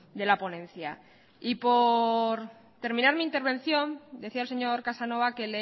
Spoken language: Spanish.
de la ponencia y por terminar mi intervención decía el señor casanova que